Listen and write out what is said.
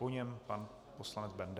Po něm pan poslanec Benda.